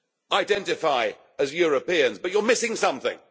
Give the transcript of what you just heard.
identify as Europeans but you are missing something.